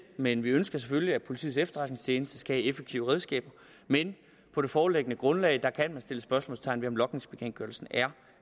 men vi ønsker selvfølgelig at politiets efterretningstjeneste skal have effektive redskaber men på det foreliggende grundlag kan man sætte spørgsmålstegn ved om logningsbekendtgørelsen er